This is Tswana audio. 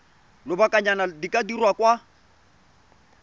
lobakanyana di ka dirwa kwa